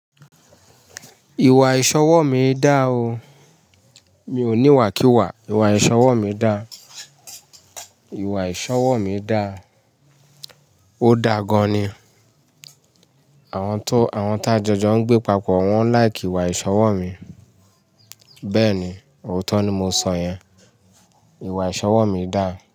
Ìwà ìṣọwọ́ mi dá o. Mi ò ní ìwà kíwà, ìwà ìṣọwọ́ mi dá. Ìwà ìṣọwọ́ mi dá, ó dá gan ni. Àwọn tó, àwọn tá jọjọ ń gbé papọ̀ wọ́n like ìwà ìṣọwọ́ mi. Bẹ́ẹ̀ ni, òótọ́ ni mo sọ yẹn. Ìwà ìṣọwọ́ mi dá.